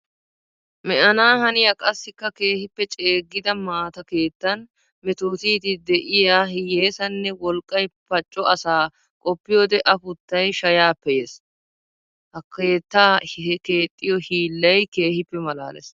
Me'anna haniya qassikka keehippe ceegidda maata keettan meetootiddi de'iy hiyessanne wolqqay pacco asaa qoppiyodde afuttay shayappe yees! Ha keetta kexxiyo hiillay keehippe malaales!